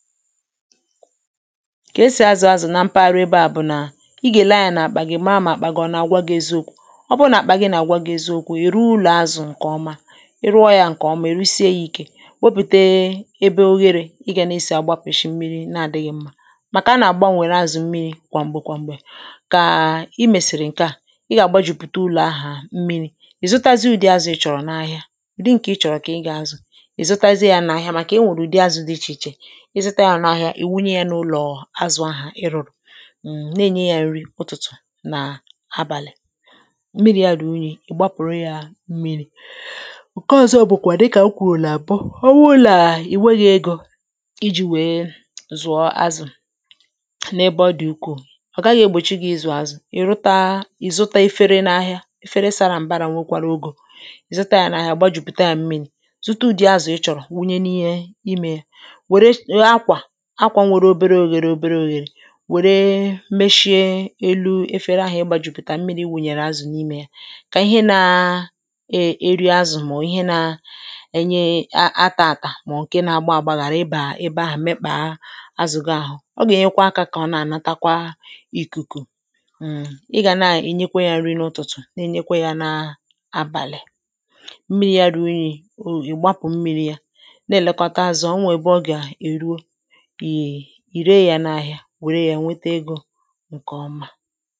ka e sì azụ̀ azụ̀ nà mpaghara ebe à bụ̀ nà ị gà-èle anyȧ nà-àkpà gà-èmara màkpà gị̇ ọ̀ nà-àgwa gị̇ eziokwu̇ ọ bụrụ nà àkpà gị nà-àgwa gị̇ eziokwu̇ ị̀ rụọ ụlọ̀ azụ̀ ǹkè ọma ị rụọ yȧ ǹkè ọma ị rusie ya ìke wopùte ebe oghere ịgȧ na-esi àgbapụ̀ishi mmiri̇ na-adịghị̇ mmȧ màkà a nà-àgbanwèrè azụ̀ mmiri̇ kwà m̀gbè kwà m̀gbè kà i mèsìrì ǹke à ị gà-àgbajùpùta ụlọ̀ ahà mmiri̇ ì zụtazị u̇dị̇ azụ̇ ị chọ̀rọ̀ n’ahịa ụ̀dị ǹkè ị chọ̀rọ̀ kà ị gà-azụ̀ ì zụtazị yȧ n’ahịa màkà enwèrè ùdi azụ̇ dị ichè ichè ǹke ọ̀zọ bụ̀ kwà dịkà m kwùrù nà àbọ ọ bụlà ì nweghị̇ égȯ iji̇ wèe zụ̀ọ azụ̀ n’ ebe ọ dị̀ ukwuù ọ̀ gaghị̇ egbòchi gà ị zụ̀ọ azụ̀ ì rụta ì zụta efere n’ ahịa efere sara m̀barȧ nwekwara ogè zụta yȧ n’ ahịa gbajùpùta yȧ m̀miri̇ zụta ùdi azụ̀ ị chọ̀rọ̀ wụnye n’ ihe imė akwȧ nwere obere oghėrė obere oghėrė wère mechie elu efere ahụ ị gbajùpùtà mmiri wùnyèrè azụ̀ n’imė yȧ kà ihe nȧ e eri azụ̀ màọ̀ọ̀ ihe nȧ enye atȧ-àtà maọ̀bụ̀ agbàghàrà ị bà ebe ahụ̀ mekpàa azụ̀ gaa ọ gà-ènyekwa akȧ kà ọ na-ànatakwa ìkùkù ị gà nà ị nyekwa yȧ nri n’ụ̀tụ̀tụ̀ na-enyekwa yȧ n’abàlị̀ mmiri yȧ ruo unyi̇ ìgbapụ̀ mmiri yȧ na-èlekọta azụ̀ ọ nwè ebe ọ gà-èruo wère ya nweta egȯ ǹkè ọma